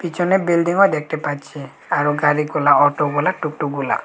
পিছনে বিল্ডিংও দেখটে পাচ্ছি আরো গাড়িগুলা অটোগুলা টুকটুকগুলা।